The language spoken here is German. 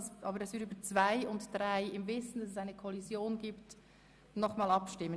Aber über die Ordnungsanträge 2 und 3 müssen wir, im Wissen um die Kollision, noch einmal abstimmen.